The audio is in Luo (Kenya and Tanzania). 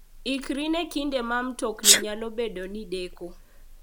Ikri ne kinde ma mtokni nyalo bedo ni deko.